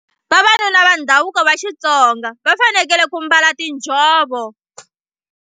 Vavanuna va ndhavuko va Xitsonga va fanekele ku mbala tinjhovo.